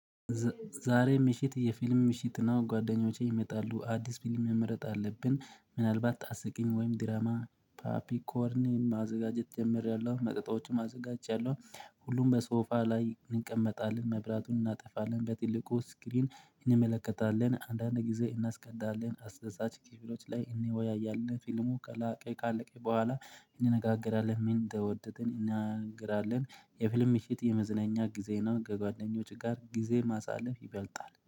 ዛሬ ምሽት የፊልም ምሽት ነው። ጓደኞቼ ይመጣሉ አዲስ ፊልም መምረጥ አለብን ምናልባት አስቂኝ ወይም ድራማ ፓፒ ኮርኒ ማዘጋጀት ጀምሪያለሁ፣ መጠጦችም አዘጋጃለሁ። ሁሉም በሶፋ ላይ እንቀመጣለን፣ መብራቱን እናጠፋለን፣ በትልቁ ስክሪን እንመለከታለን፣ አንዳንድ ጊዜ እናስቀዳለን አስደሳች ክፍሎች ላይ እን ወያያለን ፊልሙ ከላቀ ካለቀይ በኋላ እንነጋገራለን። ምን ተወደድን እናገራለን የፊልም ምሽት የመዝናኛ ጊዜ ነው። ከጓደኞች ጋር ጊዜ ማሳለፍ ይበልጣል